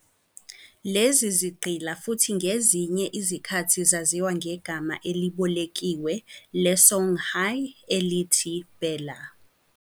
Lezi zigqila futhi ngezinye izikhathi zaziwa ngegama elibolekiwe le-Songhay elithi Bella.